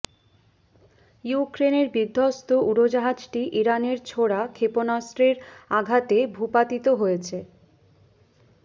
ইউক্রেনের বিধ্বস্ত উড়োজাহাজটি ইরানের ছোড়া ক্ষেপণাস্ত্রের আঘাতে ভূপাতিত হয়েছে